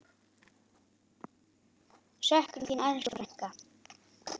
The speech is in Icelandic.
Söknum þín, elsku frænka.